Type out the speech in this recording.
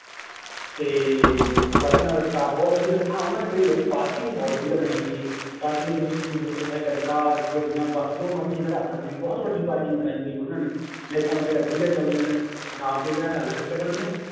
ਤੇ ਬਾਕੀ ਉਹਨਾਂ ਦਾ staff ਬਹੁਤ ਵਧੀਆ, ਹਾਂ ਉਹਨਾਂ ਦੇ ਇਹ ਆ ਵੀ parking ਬਹੁਤ ਵਧੀਆ ਬਣਾਈ ਹੋਈ ਹੈ parking ਦੇ ਵਿੱਚ ਮੋਟਰ ਸਾਈਕਲ, ਕਾਰ, ਗੱਡੀਆਂ, ਬਸ ਜੋ ਮਰਜ਼ੀ ਖੜਾ ਸਕਦੇ ਹਾਂ ਬਹੁਤ ਵੱਡੀ parking ਬਣਾਈ ਹੋਈ ਹੈ ਉਹਨਾਂ ਨੇ ਲਾਇੰਟਾਂ ਵਗ਼ੈਰਾ ਵਧੀਆ ਚੱਲਦੀਆਂ ਨੇ ਰਾਤ ਦੇ ਵਿਆਹ ਦਾ ਅਲੱਗ ਪ੍ਰਬੰਧ ਹੈ,